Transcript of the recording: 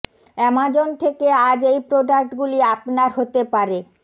Amazon থেকে আজ এই প্রোডাক্ট গুলি আপনার হতে পারে